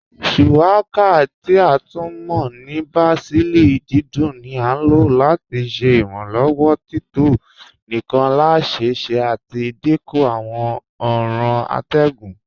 Shuwaka, ti a tún mọ́ ní bàsílì dídùn ní à lọ́ láti ṣẹ́ ìrànlowọ́ tító níkàn lẹ́sẹ́sẹ́ àti dínkú àwọn ọ̀ran àtẹ̀gùn.